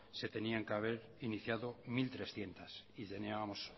que tenían que haber iniciado mil trescientos y teníamos